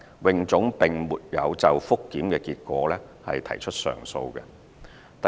泳總並沒有就覆檢結果提出上訴。